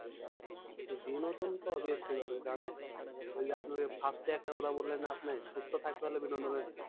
বিনোদন তো obviously দরকার কারণ ওই যে আপনি first এ একটা কথা বললেন না আপনি যে সুস্থ থাকতে হলে বিনোদনের